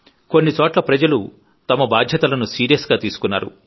కొన్ని చోట్ల ప్రజలు తమ బాధ్యతలను సీరియస్ గా తీసుకున్నారు